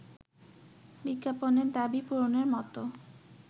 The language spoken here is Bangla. বিজ্ঞাপনের দাবি পূরণের মতো